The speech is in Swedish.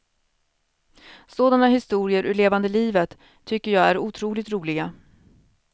Sådana historier ur levande livet tycker jag är otroligt roliga.